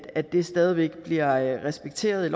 at det stadig væk bliver respekteret i